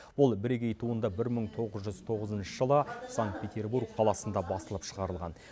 бұл бірегей туынды бір мың тоғыз жүз тоғызыншы жылы санкт петербург қаласында басылып шығарылған